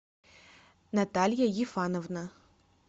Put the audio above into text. наталья ефановна